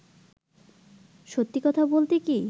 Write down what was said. সত্যি কথা বলতে কী